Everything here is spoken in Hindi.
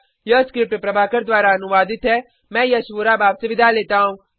यह स्क्रिप्ट प्रभाकर द्वारा अनुवादित है मैं यश वोरा अब आपसे विदा लेता हूँ